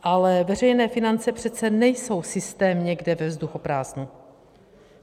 Ale veřejné finance přece nejsou systém někde ve vzduchoprázdnu.